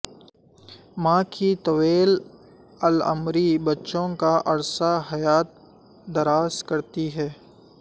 ماں کی طویل العمری بچوں کا عرصہ حیات دراز کرتی ہے